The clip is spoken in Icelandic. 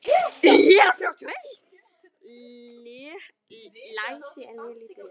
Læsi er mjög lítið.